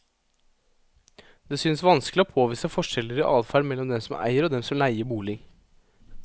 Det synes vanskelig å påvise forskjeller i adferd mellom dem som eier og dem som leier bolig.